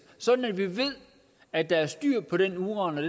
sådan at vi ved at der er styr på den uran og